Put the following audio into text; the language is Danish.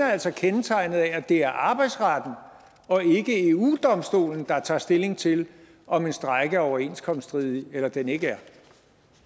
er altså kendetegnet af at det er arbejdsretten og ikke eu domstolen der tager stilling til om en strejke er overenskomststridig eller den ikke er